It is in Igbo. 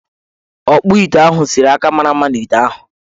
Ọkpụite ahụ sere akara mara mma n' ite ahụ.